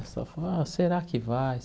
ah será que vai?